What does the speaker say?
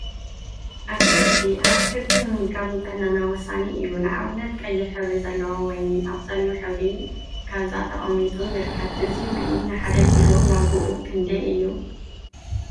አትክልቲ አትክልቲ ምምጋብ ንጥዕናና ወሳኒ እዩ፡፡ ንአብነት ቀይሕ ሕብሪ ዘለዎ ወይኒ አብ ፀሊም ሕብሪ ካዛ ተቀሚጡ ይርከብ፡፡ እዚ ወይኒ ንሓደ ኪሎ ዋግኡ ክንደይ እዩ?